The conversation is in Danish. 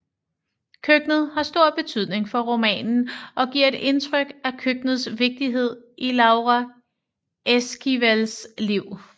Køkkenet har stor betydning for romanen og giver et indtryk af køkkenets vigtighed i Laura Esquivels liv